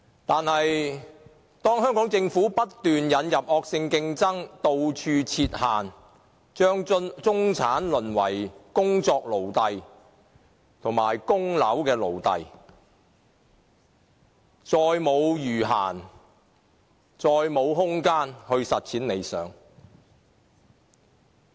可是，香港政府不斷引入惡性競爭，到處設限，把中產淪為工作奴隸及供樓奴隸，他們再沒有餘閒和空間實踐理想。